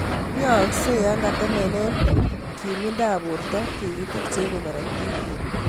Aakse yo katemenee kimindo ap porto tigitik che ipe korotik.